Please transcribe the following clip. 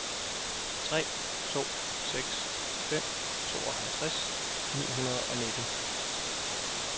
tre to seks fem tooghalvtreds ni hundrede og nitten